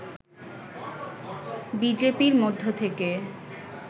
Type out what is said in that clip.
বিজেপির মধ্য থেকে